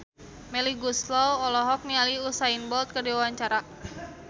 Melly Goeslaw olohok ningali Usain Bolt keur diwawancara